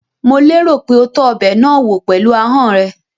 Mò lérò pé o tọ́ ọbẹ̀ náà wò pẹ̀lú ahọ́n ẹ?